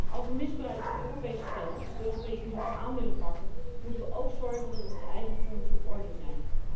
Als wij misbruik van Europees geld op Europees niveau aan willen pakken, moeten wij ook zorgen dat onze eigen fondsen op orde zijn.